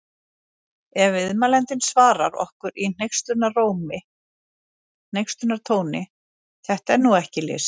Ef viðmælandinn svarar okkur í hneykslunartóni: Þetta er nú ekki list!